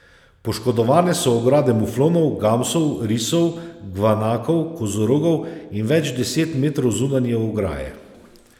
Poškodovane so ograde muflonov, gamsov, risov, gvanakov, kozorogov in več deset metrov zunanje ograje.